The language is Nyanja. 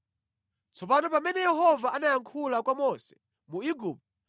Tsopano pamene Yehova anayankhula kwa Mose mu Igupto,